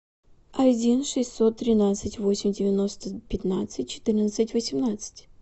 один шестьсот тринадцать восемь девяносто пятнадцать четырнадцать восемнадцать